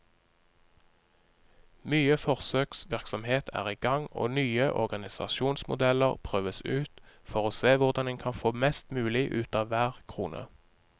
Mye forsøksvirksomhet er i gang og nye organisasjonsmodeller prøves ut, for å se hvordan en kan få mest mulig ut av hver krone.